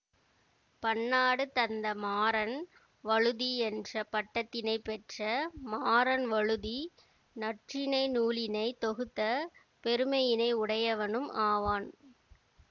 பன்னாடு தந்த மாறன் வழுதி என்ற பட்டத்தினைப் பெற்ற மாறன் வழுதி நற்றிணை நூலினை தொகுத்த பெருமையினை உடையவனும் ஆவான்